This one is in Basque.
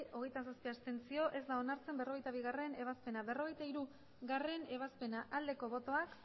hogeita zazpi abstentzioak hogeita zazpi ez da onartzen berrogeita bigarrena ebazpena berrogeita hirugarrena ebazpena aldeko botoak